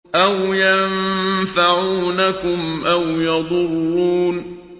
أَوْ يَنفَعُونَكُمْ أَوْ يَضُرُّونَ